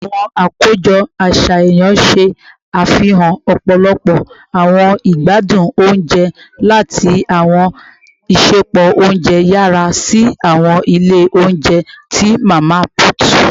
Awọn akojọ aṣayan ṣe afihan ọpọlọpọ awọn igbadun ounjẹ ounjẹ, lati awọn isẹpo ounjẹ yara si awọn ile ounjẹ ti mama put